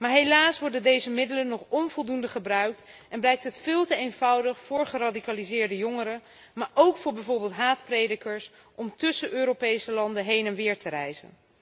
Maar helaas worden deze middelen nog onvoldoende gebruikt en blijkt het veel te eenvoudig voor geradicaliseerde jongeren, maar ook voor bijvoorbeeld haatpredikers, om tussen Europese landen heen en weer te reizen.